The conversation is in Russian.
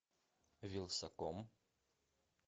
вилсаком